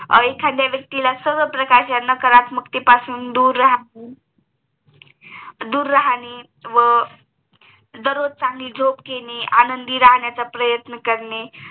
एखाद्या व्यक्तीला सर्वप्रकारच्या कलात्मकतेपासून दूर राहणे व दररोज चांगली झोप घेणे आनंदी राहण्याचं प्रयत्न करणे